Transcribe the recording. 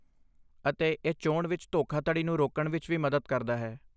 ਅਤੇ ਇਹ ਚੋਣ ਵਿੱਚ ਧੋਖਾਧੜੀ ਨੂੰ ਰੋਕਣ ਵਿੱਚ ਵੀ ਮਦਦ ਕਰਦਾ ਹੈ।